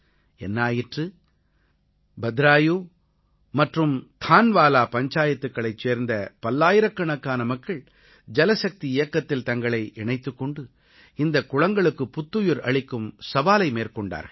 என்ன ஆயிற்று பத்ராயு மற்றும் தான்வாலா பஞ்சாயத்துக்களைச் சேர்ந்த பல்லாயிரக்கணக்கான மக்கள் ஜலசக்தி இயக்கத்தில் தங்களை இணைத்துக் கொண்டு இந்தக் குளங்களுக்குப் புத்துயிர் அளிக்கும் சவாலை மேற்கொண்டார்கள்